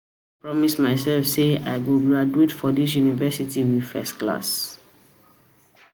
I don promise myself say I go graduate from dis university university with first class